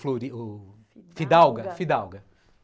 Fidalga.